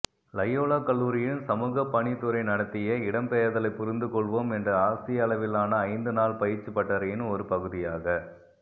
Loyola கல்லூரியின் சமூகப்பணித்துறை நடத்திய இடம்பெயர்தலைப் புரிந்துகொள்வோம் என்ற ஆசிய அளவிலான ஐந்து நாள் பயிற்சிப் பட்டறையின் ஒரு பகுதியாக